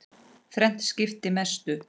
Þrennt skipti mestu.